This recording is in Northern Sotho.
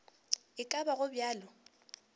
e ka ba go bjalo